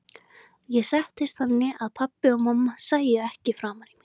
Ég settist þannig að pabbi og mamma sæju ekki framan í mig.